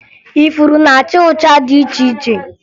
Ifuru na-acha ụcha dị iche iche